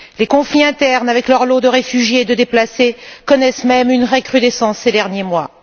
Les conflits internes avec leur lot de réfugiés et de déplacés connaissent même une recrudescence ces derniers mois.